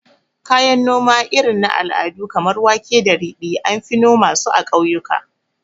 Kayan noma irin na al'adu kamar wake da ridi, anfi noma su a ƙauyaku